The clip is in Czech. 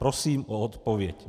Prosím o odpověď.